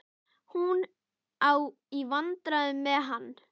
Hún á í vandræðum með hann.